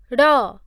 ଡ଼